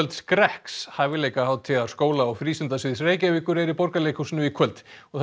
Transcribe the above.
skrekks skóla og Reykjavíkur er í Borgarleikhúsinu í kvöld